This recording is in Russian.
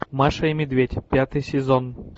маша и медведь пятый сезон